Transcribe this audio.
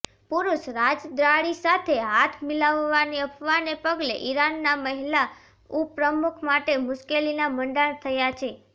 પુરુષ રાજદ્વારી સાથે હાથ મિલાવવાની અફવાને પગલે ઈરાનના મહિલા ઉપપ્રમુખ માટે મુશ્કેલીના મંડાણ થયા છે